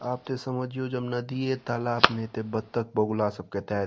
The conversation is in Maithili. आब ते समझियो जब नदिये तालाब नेए ते बत्तख बगुला सब केएते --